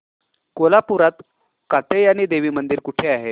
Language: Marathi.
कोल्हापूरात कात्यायनी देवी मंदिर कुठे आहे